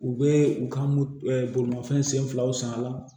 U bɛ u ka bolimafɛn sen filaw san a la